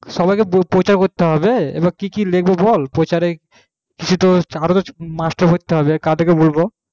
সবারই কে প্রচার করতে হবে এবার কি কি লিখবো বল প্রচারে আরো মাস্টার ভরতে হবে কাদের কে বলবো